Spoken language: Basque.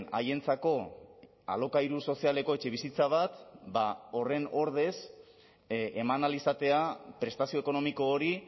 haientzako alokairu sozialeko etxebizitza bat ba horren ordez eman ahal izatea prestazio ekonomiko hori